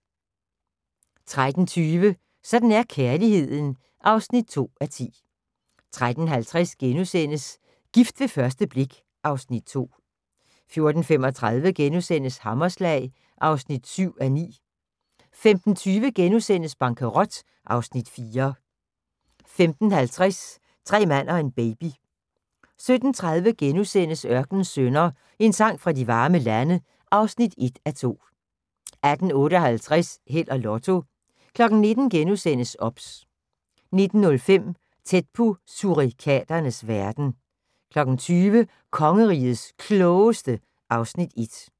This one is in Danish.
13:20: Sådan er kærligheden (2:10) 13:50: Gift ved første blik (Afs. 2)* 14:35: Hammerslag (7:9)* 15:20: Bankerot (Afs. 4)* 15:50: Tre mand og en baby 17:30: Ørkenens Sønner – En sang fra de varme lande (1:2)* 18:58: Held og Lotto 19:00: OBS * 19:05: Tæt på surikaternes verden 20:00: Kongerigets Klogeste (Afs. 1)